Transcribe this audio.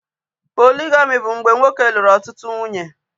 Poligami bụ mgbe nwoke lụrụ ọtụtụ nwunye